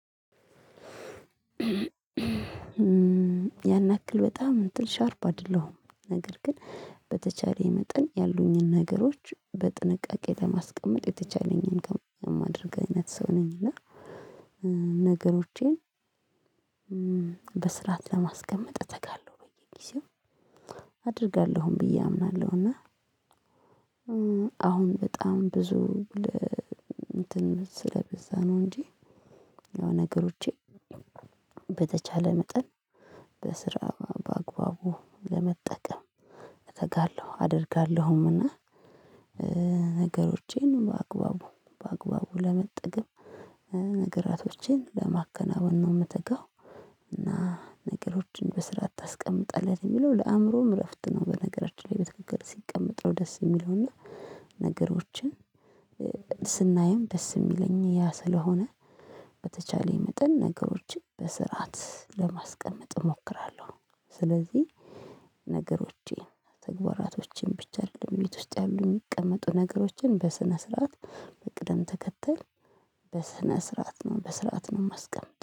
ያን ያክል በጣም እንጥልሽ ሻርባ አይደለሁም ነገር ግን በተቻለኝ መጠን ያሉኝን ነገሮች በጥንቃቄ ለማስቀመጥ የተቻለኝን ከማድረግ አይነት ሰው ነኝ። እና ነገሮቼን በስርዓት ለማስቀመጥ እተጋለሁ በየጊዜው አደርጋለሁም ብዬ አምናለሁ። እና አሁን በጣም ብዙ እንትን ስለበዛ ነው እንጂ የሆነ ነገሮቼ በተቻለ መጠን በስራ በአግባቡ ለመጠቀም እተጋለሁ አደርጋለሁምና። ነገሮቼን በአግባቡ በአግባቡ ለመጠገብ ነገራቶቼን ለማከናወን ነው የምትጋው። እና ነገሮችን በስራ አታስቀምጣለህ ነው የሚለው ለአእምሮም እረፍት ነው። በነገራችን ላይ በትክክል ሲቀመጥ ነው ደስ የሚለው። እና ነገሮችን ስናይም ደስ ሚለኝ ያ ስለሆነ በተቻለኝ መጠን ነገሮችን በስርዓት ለማስቀመጥ እሞክራለሁ። ስለዚህ ነገሮቼን ተግባራቶቼን ብቻ አይደለም ቤት ውስጥ ያሉ የሚቀመጡ ነገሮችን በስነ ስርዓት በቅደም ተከተል በስነ ስርዓት ነው በስርዓት ነው ማስቀምጠው